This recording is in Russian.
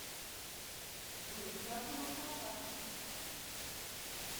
джой приятно был пообщаться